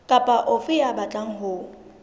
kapa ofe ya batlang ho